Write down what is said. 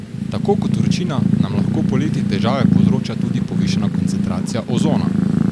Tako kot vročina nam lahko poleti težave povzroča tudi povišana koncentracija ozona.